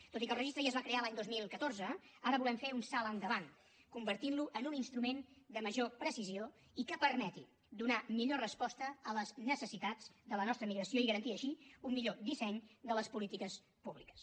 tot i que el registre ja es va crear l’any dos mil catorze ara volem fer un salt endavant convertint lo en un instrument de major precisió i que permeti donar millor resposta a les necessitats de la nostra emigració i garantir així un millor disseny de les polítiques públiques